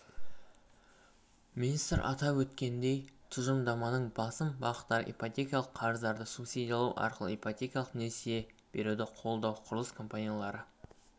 министр атап өткендей тұжырымдаманың басым бағыттары ипотекалық қарыздарды субсидиялау арқылы ипотекалық несие беруді қолдау құрылыс компаниялары